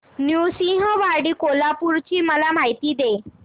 नृसिंहवाडी कोल्हापूर ची मला माहिती दे